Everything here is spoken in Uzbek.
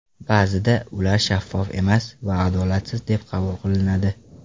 Ba’zida ular shaffof emas va adolatsiz deb qabul qilinadi.